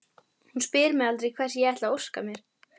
Hún spyr mig aldrei hvers ég ætli að óska mér.